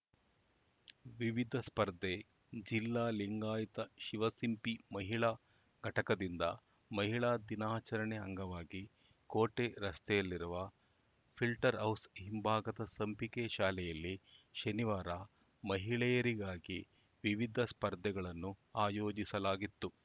ವಿವಿಧ ಸ್ಪರ್ಧೆ ಜಿಲ್ಲಾ ಲಿಂಗಾಯತ ಶಿವಸಿಂಪಿ ಮಹಿಳಾ ಘಟಕದಿಂದ ಮಹಿಳಾ ದಿನಾಚರಣೆ ಅಂಗವಾಗಿ ಕೋಟೆ ರಸ್ತೆಯಲ್ಲಿರುವ ಫಿಲ್ಟರ್‌ಹೌಸ್‌ ಹಿಂಭಾಗದ ಸಂಪಿಗೆ ಶಾಲೆಯಲ್ಲಿ ಶನಿವಾರ ಮಹಿಳೆಯರಿಗಾಗಿ ವಿವಿಧ ಸ್ಪರ್ಧೆಗಳನ್ನು ಆಯೋಜಿಸಲಾಗಿತ್ತು